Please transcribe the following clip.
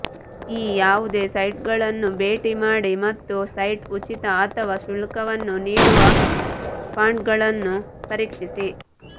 ಈ ಯಾವುದೇ ಸೈಟ್ಗಳನ್ನು ಭೇಟಿ ಮಾಡಿ ಮತ್ತು ಸೈಟ್ ಉಚಿತ ಅಥವಾ ಶುಲ್ಕವನ್ನು ನೀಡುವ ಫಾಂಟ್ಗಳನ್ನು ಪರೀಕ್ಷಿಸಿ